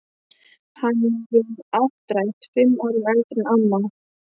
Hann er um áttrætt, fimm árum eldri en amma.